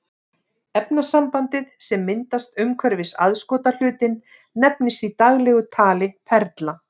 Efnasambandið sem myndast umhverfis aðskotahlutinn nefnist í daglegu tali perla.